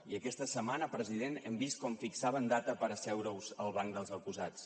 i aquesta setmana president hem vist com fixaven data per asseure us al banc dels acusats